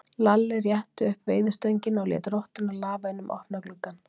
Lalli rétti upp veiðistöngina og lét rottuna lafa inn um opna gluggann.